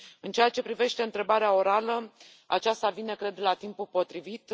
În ceea ce privește întrebarea orală, aceasta vine, cred, la timpul potrivit.